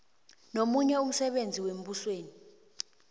nomunye umsebenzi wembusweni